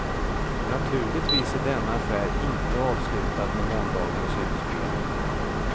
Naturligtvis är denna affär inte avslutad med måndagens utspel.